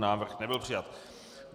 Návrh nebyl přijat.